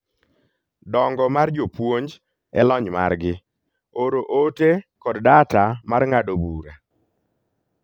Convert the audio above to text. Dongo mar jopuonj e lony margi, oro ote kod data mar ng'ado bura